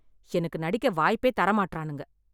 எனக்கு நடிக்க வாய்ப்பே தர மாட்றானுங்க.